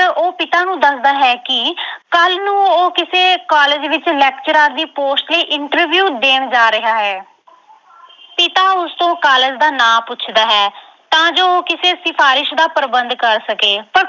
ਉਹ ਪਿਤਾ ਨੂੰ ਦੱਸਦਾ ਹੈ ਕਿ ਕੱਲ ਨੂੰ ਉਹ ਕਿਸੇ college ਵਿੱਚ lecturer ਦੀ post ਲਈ interview ਦੇਣ ਜਾ ਰਿਹਾ ਹੈ ਪਿਤਾ ਉਸਤੋਂ college ਦਾ ਨਾਂ ਪੁੱਛਦਾ ਹੈ ਤਾਂ ਜੋ ਉਹ ਕਿਸੇ ਸਿਫਾਰਿਸ਼ ਦਾ ਪ੍ਰਬੰਧ ਕਰ ਸਕੇ। ਪਰ